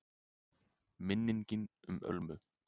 MINNINGIN UM ÖLMU